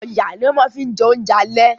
Ọ̀yà ni wọ́n ma fi jẹ oúnjẹ àlẹ́